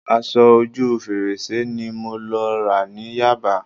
Aṣọ ojú fèrèsé ni mo lọ rà ní Yaba